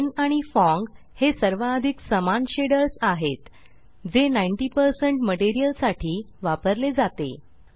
ब्लिन आणि फोंग हे सर्वाधिक समान शेडर्स आहेत जे 90 मटेरियल साठी वापरले जाते